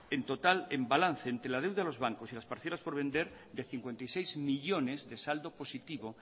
en total en balance entre la deuda de los bancos y las parcelas por vender de cincuenta y seis millónes de salgo positivo